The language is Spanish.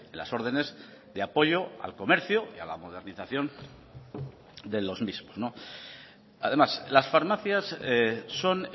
las órdenes de apoyo al comercio y a la modernización de los mismos además las farmacias son